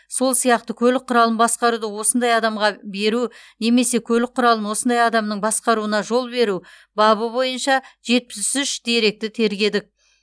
сол сияқты көлік құралын басқаруды осындай адамға беру немесе көлік құралын осындай адамның басқаруына жол беру бабы бойынша жетпіс үш деректі тергедік